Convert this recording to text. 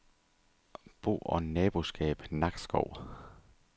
Bo- og Naboskab Nakskov